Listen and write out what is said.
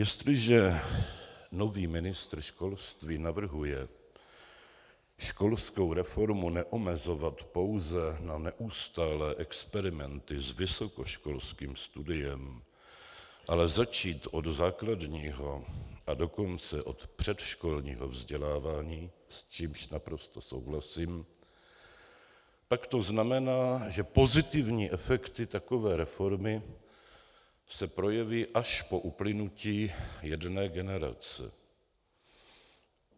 Jestliže nový ministr školství navrhuje školskou reformu neomezovat pouze na neustálé experimenty s vysokoškolským studiem, ale začít od základního, a dokonce od předškolního vzdělávání, s čímž naprosto souhlasím, pak to znamená, že pozitivní efekty takové reformy se projeví až po uplynutí jedné generace.